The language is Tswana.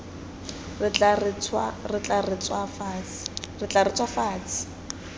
re tla re tswa fatshe